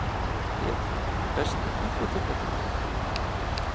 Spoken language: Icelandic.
Ég Besti íþróttafréttamaðurinn?